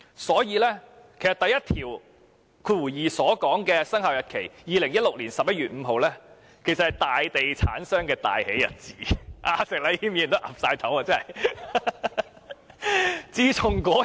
所以，第12條所訂的生效日期，即2016年11月5日，其實是大地產商的大喜日子，石禮謙議員也點頭認同。